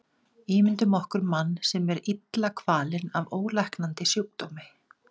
Ímyndum okkur mann sem er illa kvalinn af ólæknandi sjúkdómi.